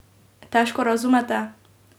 Težko razumete?